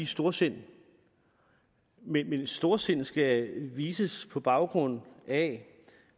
storsind men storsind skal vises på baggrund af